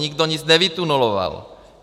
Nikdo nic nevytuneloval.